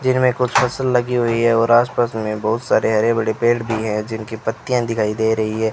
देखने कुछ फसल लगी हुई है और आस पास मे बहोत सारे हरे भरे पेड़ भी है जिनकी पत्तियां दिखाई दे रही है।